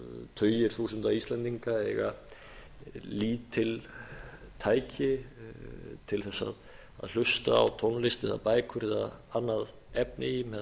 tugir þúsunda íslendinga eiga lítil tæki til að hlusta á tónlist eða bækur eða annað efni með